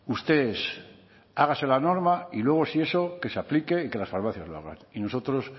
usted es hágase la norma y luego si eso que se aplique y que las farmacias lo hagan y nosotros